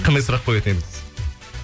қандай сұрақ қоятын едіңіз